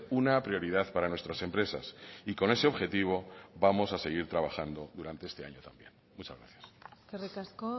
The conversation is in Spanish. una prioridad para nuestras empresas y con ese objetivo vamos a seguir trabajando durante este año también muchas gracias eskerrik asko